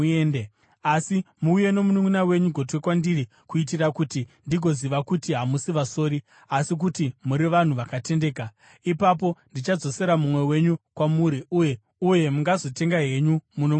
Asi muuye nomununʼuna wenyu gotwe kwandiri kuitira kuti ndigoziva kuti hamusi vasori, asi kuti muri vanhu vakatendeka. Ipapo ndichadzosera mumwe wenyu kwamuri, uye mungazotenga henyu muno munyika.’ ”